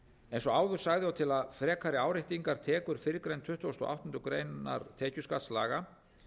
eins og áður sagði og til að frekari áréttingar tekur fyrrgreind tuttugasta og áttundu grein tekjuskattslaga